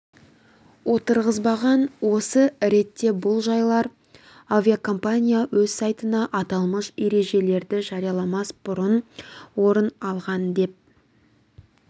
отырғызбаған осы ретте бұл жағдайлар авиакомпания өз сайтында аталмыш ережелерді жарияламас бұрын орын алған деп